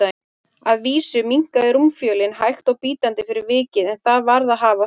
Að vísu minnkaði rúmfjölin hægt og bítandi fyrir vikið, en það varð að hafa það.